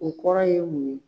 O kɔrɔ ye mun ye.